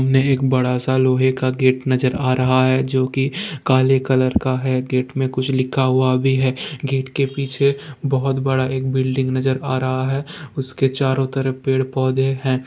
हमे एक बड़ा सा लोहे का गेट नजर आ रहा है जो की काले कलर का है गेट में कुछ लिखा हुआ भी है गेट के पीछे बहुत बड़ा एक बिल्डिंग नजर अरहा आ रहा है उसके चरों तरफ पेड़ पोधे है।